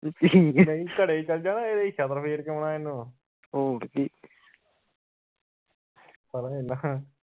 ਘਰੇ ਚੱਲ ਜਾਣਾ ਇਹਦੇ ਛਿੱਤਰ ਫੇਰ ਕੇ ਆਉਣਾ ਇਹਨੂੰ